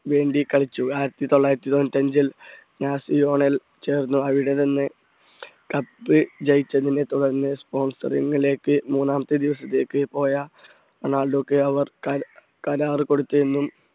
വേണ്ടി കളിച്ചു ആയിരത്തി തൊള്ളായിരത്തി തൊണ്ണൂറ്റി അഞ്ചിൽ യാസിയോണൽ ചേർന്നു അവിടെ നിന്ന് cup ജയിച്ചതിനെ തുടർന്ന് sponsering ലേക്ക് മൂന്നാം പോയ റൊണാൾഡോയ്ക്ക് അവർ കരാറു കൊടുത്തു എന്നും